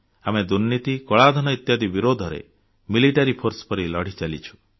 ଆମେ ଦୁର୍ନୀତି କଳାଧନ ଇତ୍ୟାଦି ବିରୁଦ୍ଧରେ ମିଲିଟାରୀ ଫୋର୍ସ ପରି ଲଢ଼ି ଚାଲିଛୁ